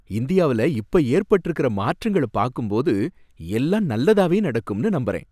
இந்தியாவுல இப்ப ஏற்பட்டிருக்கிற மாற்றங்கள பாக்கும்போது எல்லாம் நல்லதாவே நடக்கும்னு நம்புறேன்.